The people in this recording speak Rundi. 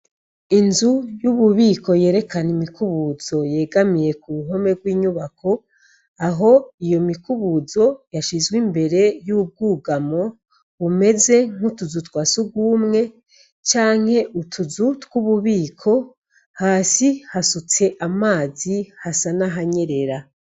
Inzu y'ububiko yerekana imikubuzo yegamiye k'uruhome rw'inyubako, aho iyo mikubuzo yashizwe imbere y'ubwugamo bumeze nk'utuzu twasugumwe canke utuzu tw'ububiko hasi hasutse amazi hasa nahanyera.